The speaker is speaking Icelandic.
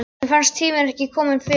Mér fannst tíminn ekki kominn fyrr.